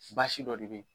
Basi dɔ de bɛ ye